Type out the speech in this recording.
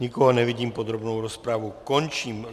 Nikoho nevidím, podrobnou rozpravu končím.